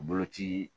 Boloci